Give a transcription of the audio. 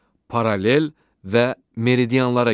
Paralel və meridianlara görə.